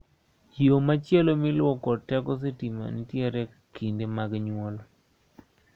Yo machielo miluwo kod teko sitima nitiere kinde mag nyuol.